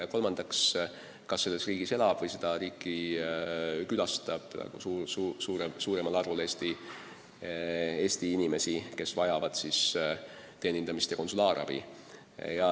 Ja kolmandaks, kas selles riigis elab või seda riiki külastab suuremal arvul Eesti inimesi, kes vajavad teenindamist ja konsulaarabi.